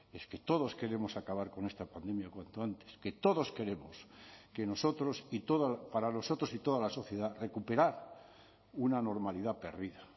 es que todos queremos acabar con esta pandemia cuanto antes que todos queremos que nosotros y para nosotros y toda la sociedad recuperar una normalidad perdida